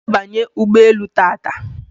Iga abanye ugboelu taata?